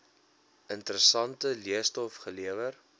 interessante leestof gelewer